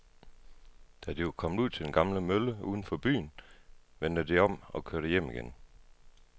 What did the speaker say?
Da de var kommet ud til den gamle mølle uden for byen, vendte de om og kørte hjem igen.